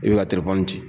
I bɛ ka telefɔni di